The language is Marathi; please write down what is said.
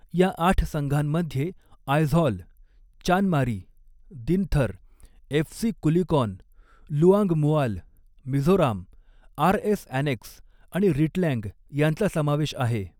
या आठ संघांमध्ये Aizawl, Chanmari, Dinthar, FC Kulikawn, Luangmual, Mizoram, RS annexe आणि रिटलँग यांचा समावेश आहे.